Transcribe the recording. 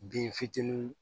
Bin fitininw